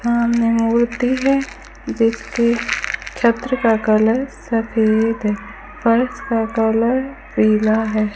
सामने मूर्ति है जिसके छत्र का कलर सफेद है फर्श कलर पीला है।